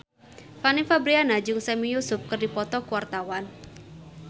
Fanny Fabriana jeung Sami Yusuf keur dipoto ku wartawan